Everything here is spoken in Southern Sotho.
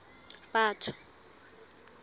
batho